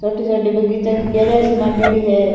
छोटो छोटी बगीचा केरिया सी मांडेडी है।